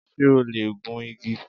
Ṣé o lè gun igi?